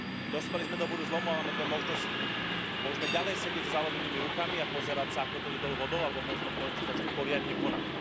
Dospeli sme do bodu zlomu a máme dve možnosti môžeme ďalej sedieť so zalomenými rukami a pozerať sa, ako to ide dolu vodou, alebo môžeme konečne začať poriadne konať.